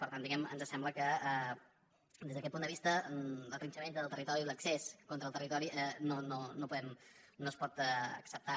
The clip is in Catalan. per tant diguemne ens sembla que des d’aquest punt de vista la trinxadissa del territori i l’excés contra el territori no es pot acceptar